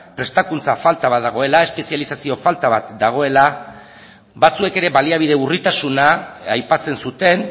prestakuntza falta bat dagoela espezializazio falta bat dagoela batzuek ere baliabide urritasuna aipatzen zuten